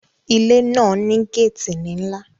Ilé náà ní gáàtì nílá